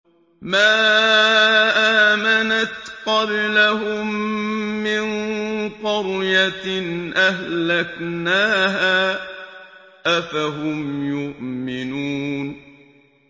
مَا آمَنَتْ قَبْلَهُم مِّن قَرْيَةٍ أَهْلَكْنَاهَا ۖ أَفَهُمْ يُؤْمِنُونَ